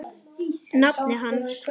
nafni hans.